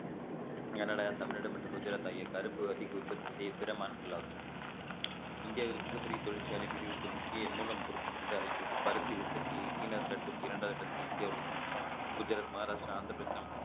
என தமிழ்நாடு மற்றும் குஜராத் ஆகிய கரும்பு அதிக உற்பத்தி செய்ய பிற மாநிலங்களாகும் இந்தியாவில் மிகப் பெரிய தொழிற்சாலை பிரிவுக்கு முக்கிய மூலப்பொருட்கள் வந்து அழைக்கிறது பருத்தி உற்பத்தியை சீனாவுக்கு அடுத்து இரண்டாவது கட்டத்துல இந்தியா உள்ளது குஜராத் மகாராஷ்டிரா ஆந்திரப்பிரதேசம்